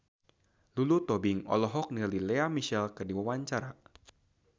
Lulu Tobing olohok ningali Lea Michele keur diwawancara